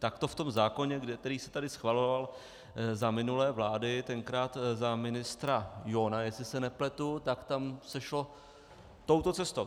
Tak to v tom zákoně, který se tady schvaloval za minulé vlády, tenkrát za ministra Johna, jestli se nepletu, tak tam se šlo touto cestou.